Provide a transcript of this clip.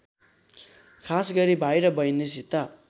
खासगरी भाइ र बहिनीसित